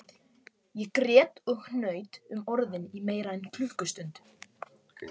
Ég grét og hnaut um orðin í meira en klukkustund